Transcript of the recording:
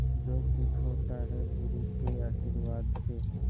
जो कुछ होता है गुरु के आशीर्वाद से